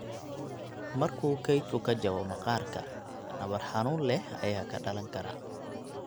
Marka kaydku ka jabo maqaarka, nabar xanuun leh ayaa ka dhalan kara.